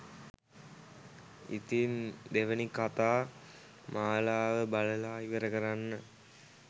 ඉතින් දෙවෙනි කතා මාලාව බලලා ඉවර කරන්න